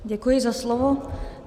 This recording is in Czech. Děkuji za slovo.